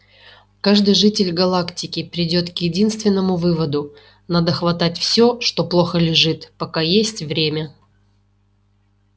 каждый житель галактики придёт к единственному выводу надо хватать всё что плохо лежит пока есть время